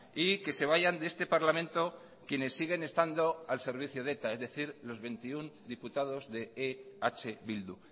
y que se vayan de este parlamento quienes siguen estando al servicio de eta es decir los veintiuno diputados de eh bildu